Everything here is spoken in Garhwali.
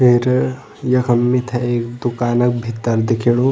फिर यखम मिथे एक दुकानक भीतर दिखेणु।